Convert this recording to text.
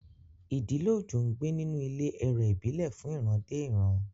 Ìdílé Ojo ń gbé nínú ilé ẹ̀rẹ̀ ìbílẹ̀ fún ìran dé ìran.